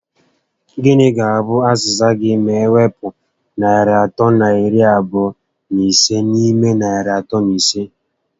Gịnị ga abụ aziza gị ma ewpu narị atọ na iri abụọ na ise n'ime narị atọ na ise?